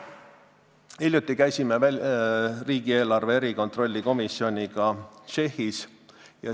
Hiljuti käisin riigieelarve kontrolli erikomisjoniga Tšehhis.